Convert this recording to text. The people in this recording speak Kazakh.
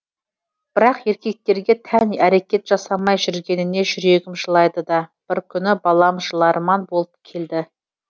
бірақ еркектерге тән әрекет жасамай жүргеніне жүрегім жылайды да бір күні балам жыларман болып келді